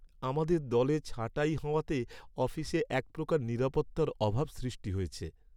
আমাদের দলে ছাঁটাই হওয়াতে অফিসে এক প্রকার নিরাপত্তার অভাব সৃষ্টি হয়েছে।